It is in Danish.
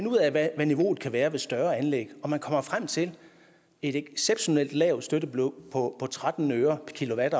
ud af hvad niveauet kan være ved større anlæg og man kommer frem til et exceptionelt lavt støttebeløb på tretten øre per kilowatt